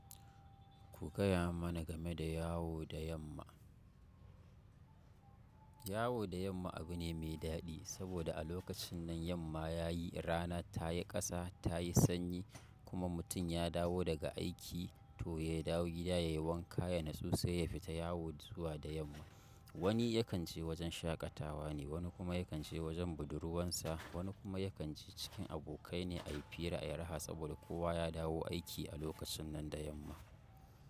Ku gaya mana game da yawo da yamma. Yawo da yamma abu ne mai daɗi saboda a lokacin nan yamma yayi rana ta yi ƙasa, ta yi sanyi kuma mutum ya dawo daga aiki to ya dawo gida ya yi wanka ya nutsu sai ya fita yawo zuwa da yamma. Wani yakan je wajen shaƙatawa ne, wani kuma yakan je wajen budurwansa, wani kuma yakan je cikin abokai ne ayi fira ayi raha saboda kowa ya dawo aiki a lokacin nan da yamma.